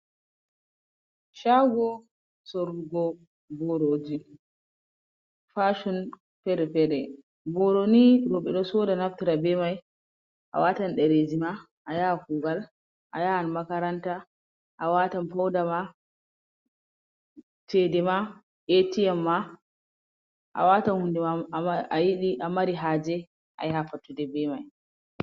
Sago sorogo ɓoroji, fason pere-pere. Ɓoroni roɓe ɗo soɗa naftira ɓemai. A watan ɗerejima, a yahan kugal, a yahan makaranta, a watan fauɗama, ceɗema A.T.M. ma, a watan hunɗe ayiɗi a mari haje, a yaha fattuɗe ɓe mai.